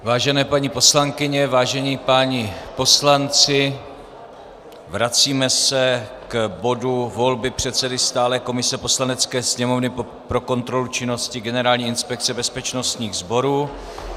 Vážené paní poslankyně, vážení páni poslanci, vracíme se k bodu volby předsedy stálé komise Poslanecké sněmovny pro kontrolu činnosti Generální inspekce bezpečnostních sborů.